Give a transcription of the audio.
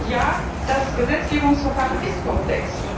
Und ja, das Gesetzgebungsverfahren ist komplex.